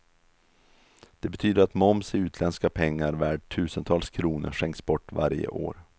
Det betyder att moms i utländska pengar värd tusentals kronor skänks bort varje år.